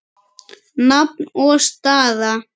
Nafn og staða?